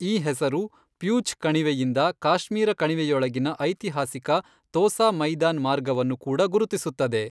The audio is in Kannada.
ಈ ಹೆಸರು ಫ್ಯೂಛ್ ಕಣಿವೆಯಿಂದ ಕಾಶ್ಮೀರ ಕಣಿವೆಯೊಳಗಿನ ಐತಿಹಾಸಿಕ ತೋಸಾ ಮೈದಾನ್ ಮಾರ್ಗವನ್ನು ಕೂಡ ಗುರುತಿಸುತ್ತದೆ.